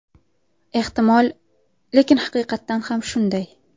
Ehtimol, lekin haqiqatan ham shunday.